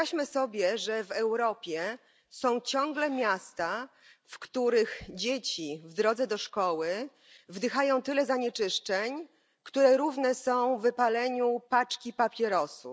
Wyobraźmy sobie, że w Europie są ciągle miasta, w których dzieci w drodze do szkoły wdychają tyle zanieczyszczeń, które równe są wypaleniu paczki papierosów.